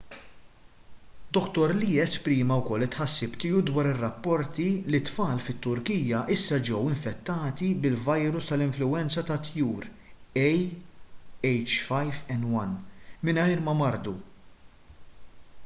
dr lee esprima wkoll it-tħassib tiegħu dwar rapporti li t-tfal fit-turkija issa ġew infettati bil-virus tal-influwenza tat-tjur ah5n1 mingħajr ma mardu